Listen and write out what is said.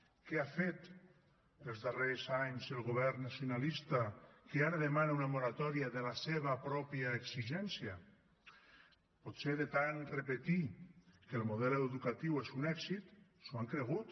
què ha fet els darrers anys el govern nacionalista que ara demana una moratòria de la seva pròpia exigència potser de tant repetir que el model educatiu és un èxit s’ho han cregut